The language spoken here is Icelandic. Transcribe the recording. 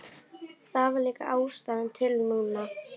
Það var líka ástæða til núna.